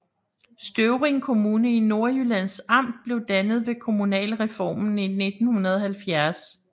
Støvring Kommune i Nordjyllands Amt blev dannet ved kommunalreformen i 1970